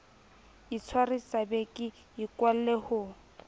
itshwarisa be ke ikwalle ho